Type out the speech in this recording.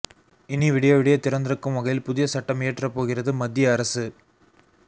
இனி விடிய விடிய திறந்திருக்கும் வகையில் புதிய சட்டம் இயற்றப்போகிறது மத்திய அரசு